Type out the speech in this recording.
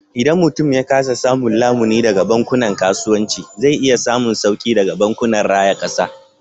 Idan mutum ya kasa samun lamuni daga bankunan kasuwanci, zai iya samun sauki daga bankunan raya kasa.